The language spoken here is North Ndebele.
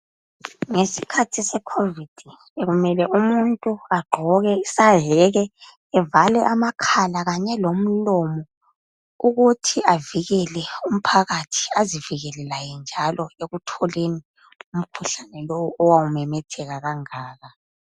Ngesikhathi se COVID bekumele umuntu agqoke isayeke evale amakhala kanye lomlomo ukuthi avikele umphakathi azivikele laye njalo ekutholeni umkhuhlane lowu owawu memetheka kangaka .